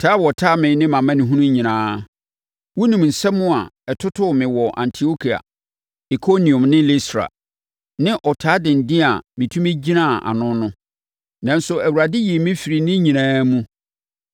taa a wɔtaa me ne mʼamanehunu nyinaa. Wonim nsɛm a ɛtotoo me wɔ Antiokia, Ikoniom ne Listra, ne ɔtaa denden a metumi gyinaa ano no. Nanso, Awurade yii me firii ne nyinaa mu.